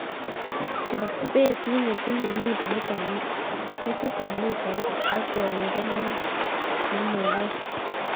Chop betit netinye metitab mitait ak koindo nenomekei.